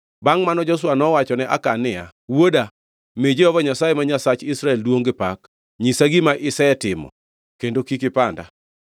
Bangʼ mano, Joshua nowachone Akan niya, “Wuoda, mi Jehova Nyasaye ma Nyasach Israel duongʼ gi pak. Nyisa gima isetimo kendo kik ipanda.”